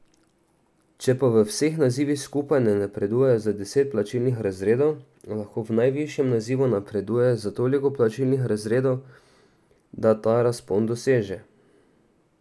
Če pa v vseh nazivih skupaj ne napreduje za deset plačnih razredov, lahko v najvišjem nazivu napreduje za toliko plačnih razredov, da ta razpon doseže.